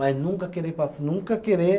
Mas nunca querer passar, nunca querer...